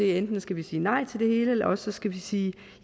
enten skal vi sige nej til det hele eller også skal vi sige